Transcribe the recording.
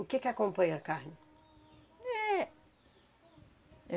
O que que acompanha a carne? Éh